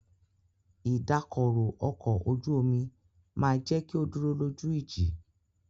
Ìdákọrò ọkọ̀ ojú omi máà jẹ́ kí o dúró lójú ìjì.